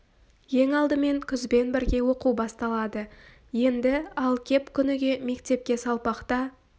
ең алдымен күзбен бірге оқу басталады енді ал кеп күніге мектепке салпақта